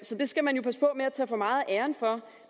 så det skal man passe på med at tage for meget af æren for